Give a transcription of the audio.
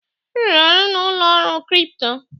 M rụrụ ọrụ na ụlọ ọrụ kripto.